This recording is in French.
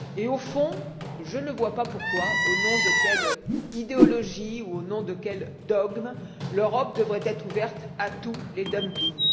Au fond, je ne vois pas pourquoi, au nom de quelle idéologie, au nom de quel dogme, l'Europe devrait être ouverte à tous les dumpings.